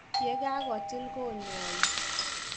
Yegagotil konyoig.